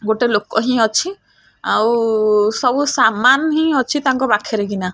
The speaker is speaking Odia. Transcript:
ଗୋଟେ ଲୋକ ହିଁ ଅଛି ଆଉ ସବୁ ସାମାନ ହିଁ ଅଛି ତାଙ୍କ ପାଖେରେ କିନା।